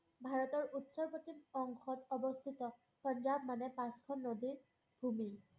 ভাৰতৰ উত্তৰ-পশ্চিম অংশত অৱষ্ঠিত পঞ্জাৱ মানে পাঁচখন নদীৰ ভুমি।